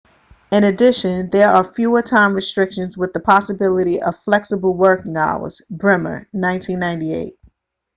in addition there are fewer time restrictions with the possibility of flexible working hours. bremer 1998